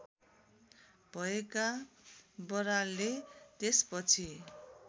भएका बरालले त्यसपछि